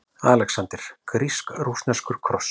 ALEXANDER: Grísk-rússneskur kross!